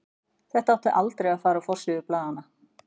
Þetta átti aldrei að fara á forsíður blaðanna.